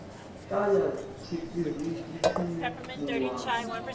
ṱa ya tshiṱiriki tshine muwani